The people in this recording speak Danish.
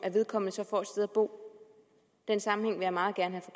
vedkommende så får et sted at bo den sammenhæng vil jeg meget gerne